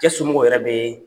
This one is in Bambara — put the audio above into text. Cɛ somɔgɔw yɛrɛ bee